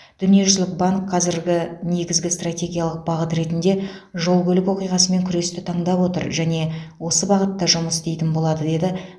дүниежүзілік банк қазіргі негізгі стратегиялық бағыт ретінде жол көлік оқиғасымен күресті таңдап отыр және осы бағытта жұмыс істейтін болады деді